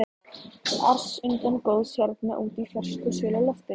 ars undarlega góð hérna úti í fersku og svölu loftinu.